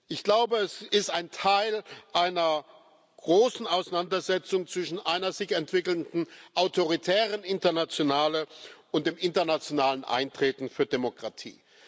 Ich glaube, es ist ein Teil einer großen Auseinandersetzung zwischen einer sich entwickelnden autoritären Internationalen und dem internationalen Eintreten für Demokratie.